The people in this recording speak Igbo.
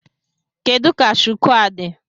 Kedu ka shuku a dị?